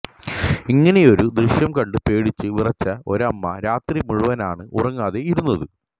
ഇങ്ങനെയൊരു ദൃശ്യം കണ്ട് പേടിച്ചു വിറച്ച ഒരമ്മ രാത്രി മുഴുവനാണ് ഉറങ്ങാതെ ഇരുന്നത്